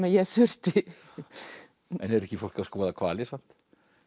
ég þurfti en er ekki fólk að skoða hvali samt